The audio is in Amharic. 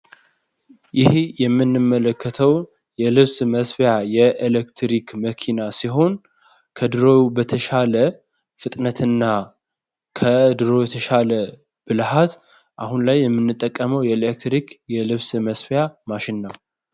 ይሄ የምንመለከተው የልብስ መስፊያ የኤሌክትሪክ መኪና ሲሆን ከድሮ በተሻለ ፍጥነትና ከድሮ የተሻለ ብልሃት አሁን ላይ የምንጠቀመው የኤሌክትሪክ የልብስ መስፊያ ማሽን ነው።